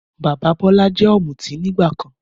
Bàbá Bọ́lá jẹ́ Ọ̀mùtí nígbàkan